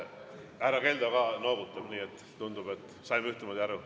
Härra Keldo ka noogutab, nii et tundub, et saime ühtemoodi aru.